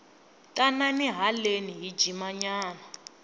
tanani haleni hi jima nyana